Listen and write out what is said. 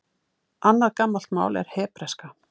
Annað gamalt mál er hebreska.